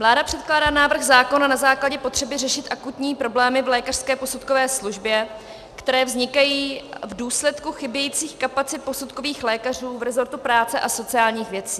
Vláda předkládá návrh zákona na základě potřeby řešit akutní problémy v lékařské posudkové službě, které vznikají v důsledku chybějících kapacit posudkových lékařů v resortu práce a sociálních věcí.